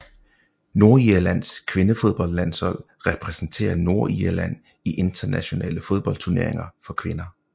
Nordirlands kvindefodboldlandshold repræsenterer Nordirland i internationale fodboldturneringer for kvinder